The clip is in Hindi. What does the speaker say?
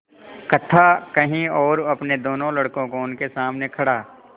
कथा कही और अपने दोनों लड़कों को उनके सामने खड़ा